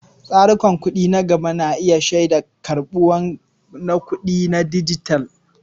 Tsarukan kuɗi na gaba na iya shaida ƙarin karɓuwa na kuɗin dijital.